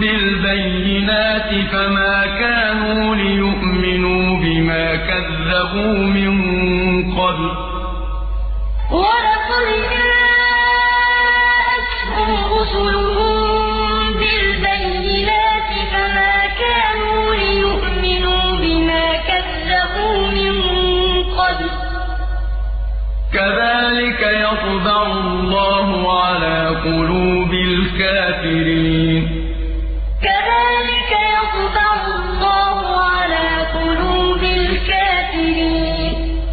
بِالْبَيِّنَاتِ فَمَا كَانُوا لِيُؤْمِنُوا بِمَا كَذَّبُوا مِن قَبْلُ ۚ كَذَٰلِكَ يَطْبَعُ اللَّهُ عَلَىٰ قُلُوبِ الْكَافِرِينَ تِلْكَ الْقُرَىٰ نَقُصُّ عَلَيْكَ مِنْ أَنبَائِهَا ۚ وَلَقَدْ جَاءَتْهُمْ رُسُلُهُم بِالْبَيِّنَاتِ فَمَا كَانُوا لِيُؤْمِنُوا بِمَا كَذَّبُوا مِن قَبْلُ ۚ كَذَٰلِكَ يَطْبَعُ اللَّهُ عَلَىٰ قُلُوبِ الْكَافِرِينَ